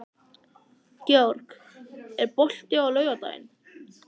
Georg, er bolti á laugardaginn?